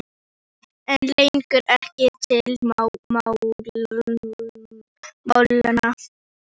Pabbi einn leggur ekkert til málanna.